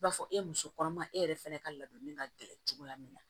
I b'a fɔ e muso kɔnɔma e yɛrɛ fɛnɛ ka ladonni ka gɛlɛn cogoya min na